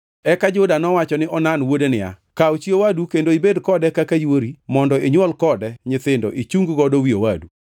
Eka Juda nowacho ne Onan wuode niya, “Kaw chi owadu kendo ibed kode kaka yuori mondo inywol kode nyithindo ichung godo wi owadu.”